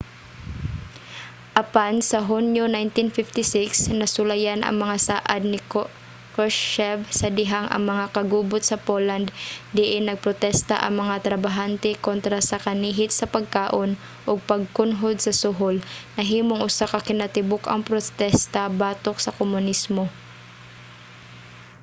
apan sa hunyo 1956 nasulayan ang mga saad ni krushchev sa dihang ang mga kagubot sa poland diin nagprotesta ang mga trabahante kontra sa kanihit sa pagkaon ug pagkunhod sa suhol nahimong usa ka kinatibuk-ang protesta batok sa komunismo